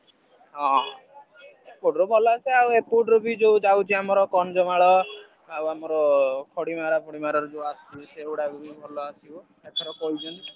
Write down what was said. ହଁ ସେପଟ ରେ ଭଲ ଆସେ ଆଉ ଯୋଉ ଯାଉଛି ବି ଆମ ଏପଟ ର କନ୍ଧମାଳ ଆଉ ଆମର ଆସୁଛି ସେଇ ଗୁଡାକ ବି ଭଲ ଆସିବ ଏଥର କହୁଛନ୍ତି।